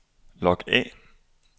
log af